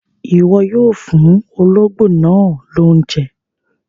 Iwọ yoo fuun ologbo naa lounje!